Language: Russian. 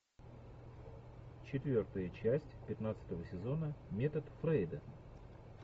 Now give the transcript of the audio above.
четвертая часть пятнадцатого сезона метод фрейда